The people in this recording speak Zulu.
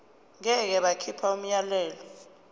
ngeke bakhipha umyalelo